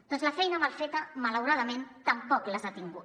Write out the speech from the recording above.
doncs la feina mal feta malauradament tampoc les ha tingut